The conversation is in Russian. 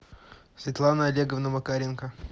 светлана олеговна макаренко